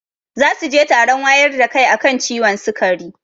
Zasuje taron wayar da kai akan ciwon sikari